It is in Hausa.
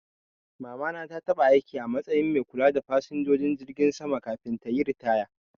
Mama na ta taba aiki a matsayin mai kula da fasinjojin jirgi sama kafin tayi ritaya